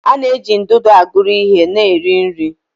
A na-eji ndụdụ aguru ihe na iri nri.